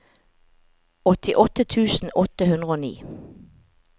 åttiåtte tusen åtte hundre og ni